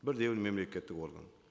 бірде бір мемлекеттік орган